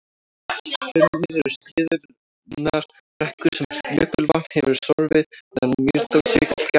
hrunarnir eru skriðurunnar brekkur sem jökulvatn hefur sorfið meðan mýrdalsjökull gekk framar